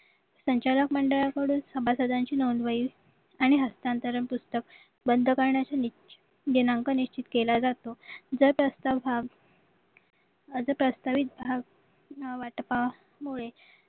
संचालक मंडळाकडून सभासदांची नोंदवही आणि हस्तातंरंग पुस्तक बंद करण्यात आले दिनांक निश्चित केला जातो जर प्रस्ताव हा हा जो प्रास्तवित भाव वाटपामुळे